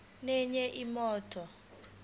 nenye imoto